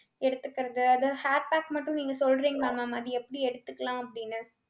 எடுத்துக்கறது அது hair pack மட்டும் நீங்க சொல்றீங்களா ma'am அது எப்படி எடுத்துக்கலாம் அப்டினு